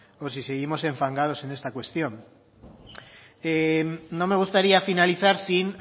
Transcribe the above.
o si seguimos enfangados en esta cuestión no me gustaría finalizar sin